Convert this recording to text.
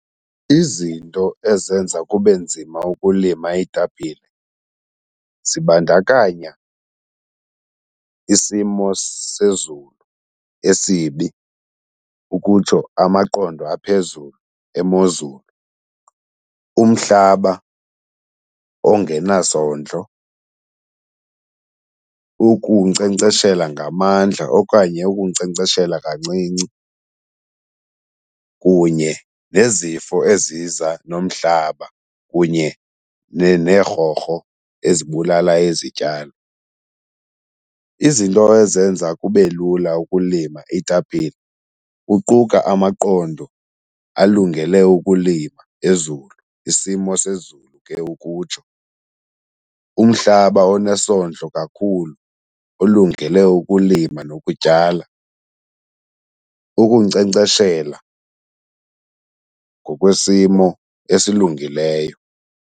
Izinto ezenza kube nzima ukulima iitapile zibandakanya isimo sezulu esibi, ukutsho amaqondo aphezulu emozulu, umhlaba ongenazondlo, ukunkcenkceshela ngamandla okanye ukunkcenkceshela kancinci, kunye nezifo eziza nomhlaba kunye neerhorho ezibulala izityalo. Izinto ezenza kube lula ukulima iitapile uquka amaqondo alungele ukulima ezulu, isimo sezulu ke ukutsho, umhlaba onesondlo kakhulu olungele ukulima nokutyala, ukunkcenkceshela ngokwesimo esilungileyo.